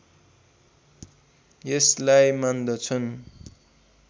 यसलाई मान्दछन्